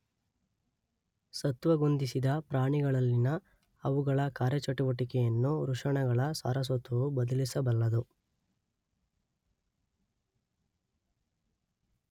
ಸತ್ವಗುಂದಿಸಿದ ಪ್ರಾಣಿಗಳಲ್ಲಿನ ಅವುಗಳ ಕಾರ್ಯಚಟುವಟಿಕೆಯನ್ನು ವೃಷಣಗಳ ಸಾರಸತ್ವವು ಬದಲಿಸಬಲ್ಲದು